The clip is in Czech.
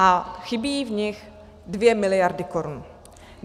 A chybí v nich 2 miliardy korun.